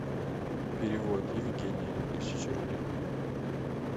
перевод евгений тысяча рублей